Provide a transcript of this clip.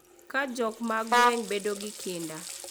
Ka jodak mag gwenge bedo gi kinda